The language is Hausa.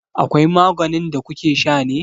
Akwai maganin da kukesha ne?